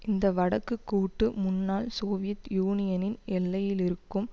இந்த வடக்கு கூட்டு முன்னாள் சோவியத் யூனியனின் எல்லையிலிருக்கும்